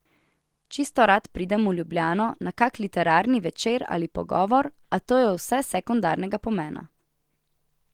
Čisto rad pridem v Ljubljano na kak literarni večer ali pogovor, a to je vse sekundarnega pomena.